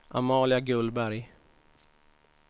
Amalia Gullberg